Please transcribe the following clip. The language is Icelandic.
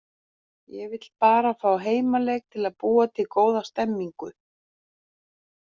Ég vill bara fá heimaleik til að búa til góða stemmningu.